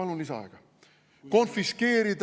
Palun lisaaega!